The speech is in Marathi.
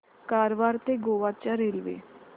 कारवार ते गोवा च्या रेल्वे